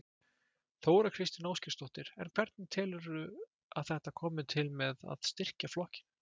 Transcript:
Þóra Kristín Ásgeirsdóttir: En hvernig telurðu að þetta komi til með að styrkja flokkinn?